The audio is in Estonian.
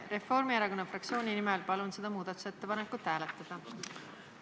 Reformierakonna fraktsiooni nimel palun seda muudatusettepanekut hääletada!